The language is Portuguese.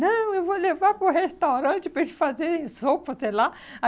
Não, eu vou levar para o restaurante para eles fazerem sopa, sei lá.